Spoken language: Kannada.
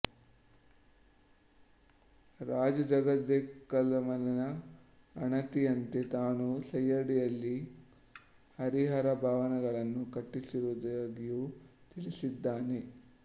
ರಾಜ ಜಗದೇಕಮಲ್ಲನ ಆಣತಿಯಂತೆ ತಾನು ಸೈಯಡಿಯಲ್ಲಿ ಹರಿಹರಭವನಗಳನ್ನು ಕಟ್ಟಿಸಿರುವುದಾಗಿಯೂ ತಿಳಿಸಿದ್ದಾನೆ